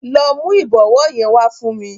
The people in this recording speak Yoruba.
Lọ mu ìbọwọ́ yẹn wá fún mi.